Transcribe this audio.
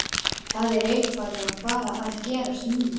Það er eitthvað að fara að gerast núna.